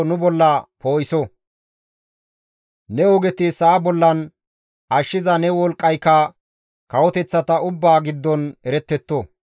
Ne ogeti sa7a bollan, ashshiza ne wolqqayka kawoteththata ubbaa giddon erettetto.